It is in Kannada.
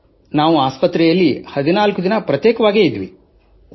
ಸರ್ ನಾವು ಆಸ್ಪತ್ರೆಯಲ್ಲಿ 14 ದಿನ ಏಕಾಂಗಿಯಾಗಿದ್ದೆವು